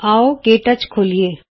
ਆਉ ਕੇ ਟੱਚ ਖੋਲੀਏ